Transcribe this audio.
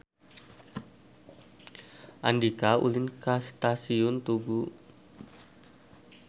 Andika ulin ka Stasiun Tugu